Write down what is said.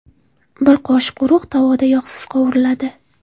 Bir qoshiq urug‘ tovada yog‘siz qovuriladi.